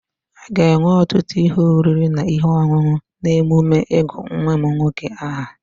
A ga-enwe ọtụtụ ihe oriri na ihe ọṅụṅụ n'emume ịgụ nwa m nwoke aha.